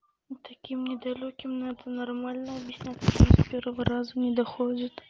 ну таким недалёким надо нормально объясняться кому с первого раза не доходит